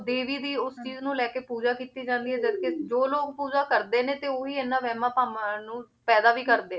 ਦੇਵੀ ਦੀ ਉਸ ਚੀਜ਼ ਨੂੰ ਲੈ ਕੇ ਪੂਜਾ ਕੀਤੀ ਜਾਂਦੀ ਹੈ ਜਦਕਿ ਜੋ ਲੋਕ ਪੂਜਾ ਕਰਦੇ ਨੇ ਤੇ ਉਹੀ ਇਹਨਾਂ ਵਿਹਮਾਂ ਭਰਮਾਂ ਨੂੰ ਪੈਦਾ ਵੀ ਕਰਦੇ